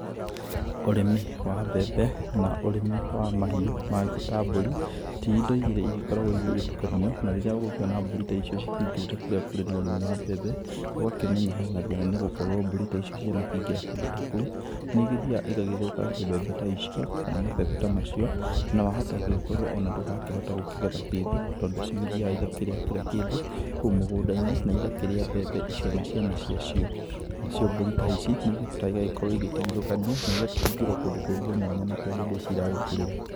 Ũrĩmi wa mbembe na ũrĩmi wa mahiũ mangĩ ta mbũri, ti indo igĩrĩ igĩkoragwo igĩtukanio. Na rĩrĩa ũgũkĩona mbũri ta icio cikĩingĩrĩte kũrĩa kũrĩ na ũrĩmi wa mbembe, ũgakĩmenya he na thĩna nĩgũkorwo mbũri ta icio cianakĩingĩra kũndũ ta kũu, nĩigĩthiaga igagĩthũkangia mbembe ta icio, kana mabebe ta macio. Na wahota gũgĩkorwo ona ndũgakĩhota gũkĩgetha kĩndũ. Tondũ cĩgĩthiaga igakĩrĩa kĩra kĩndũ kũu mũgũnda-inĩ, na igakĩrĩa mbembe icio na ciana ciacio. Nacio Mbũri ta ici, nĩigĩbataraga igagĩkorwo igĩtigithũkanio, na igakĩhingĩrwo kũndũ kũngĩ mwanya na kũrĩa mbembe ici iragĩkũrĩra.